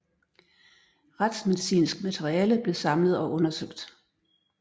Retsmedicinsk materiale blev samlet og undersøgt